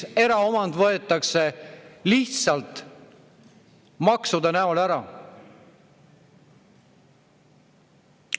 Eraomand võetakse lihtsalt maksude mõjul ära.